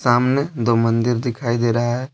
सामने दो मंदिर दिखाई दे रहा है।